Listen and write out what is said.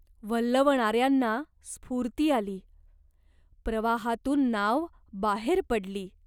वल्हवणाऱ्यांना स्फूर्ती आली. प्रवाहातून नाव बाहेर पडली.